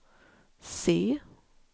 C